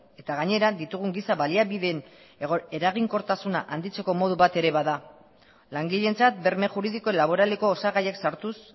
eta gainera ditugun giza baliabideen eraginkortasuna handitzeko modu bat ere bada langileentzat berme juridiko laboraleko osagaiak sartuz